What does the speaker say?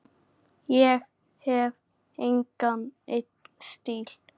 Ég hef engan einn stíl.